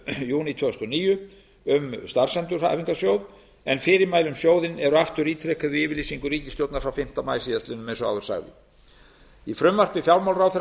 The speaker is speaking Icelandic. júní tvö þúsund og níu um starfsendurhæfingarsjóð en fyrirmæli um sjóðinn eru aftur ítrekuð í yfirlýsingu ríkisstjórnarinnar frá fimmta maí síðastliðnum eins og áður sagði í frumvarpi fjármálaráðherra